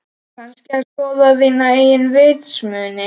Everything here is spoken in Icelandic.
Kannski að skoða þína eigin vitsmuni.